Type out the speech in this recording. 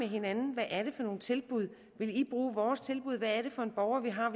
hinanden hvad er det for nogle tilbud vil i bruge vores tilbud hvad er det for en borger vi har